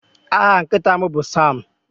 Aha nkịta m bụ Sam.